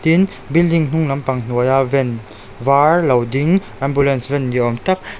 tin building hnung lampang hnuaia van vâr lo ding ambulance van ni âwm tak--